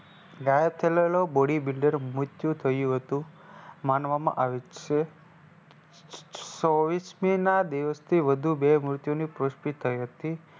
ગાયબ થયેલો Bodybuilder મૃત્યુ થયું હતું માનવામાં આવે છે. છવીસમીના દિવસે વધુ બે મૃત્યુની પુષ્ટિ થઈ હતી.